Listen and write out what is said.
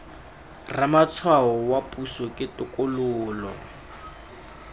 ramatshwao wa puso ke tokololo